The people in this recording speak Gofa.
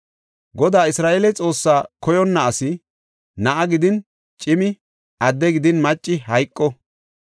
Godaa Isra7eele Xoossaa koyonna asi, na7a gidin cimi, adde gidin macci hayqo.